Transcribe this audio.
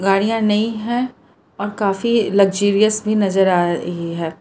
गाड़ियां नई है और काफी लग्जरियस भी नजर आ रही है।